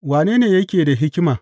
Wane ne yake da hikima?